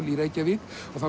í Reykjavík